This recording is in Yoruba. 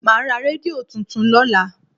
Màá ra rédíò tuntun lọ́la.